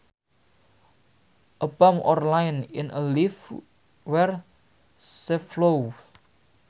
A bump or line in a leaf where sap flows